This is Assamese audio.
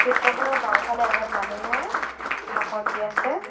চিত্ৰখনৰ বাওঁফালে এজন মানুহে ভাষণ দি আছে।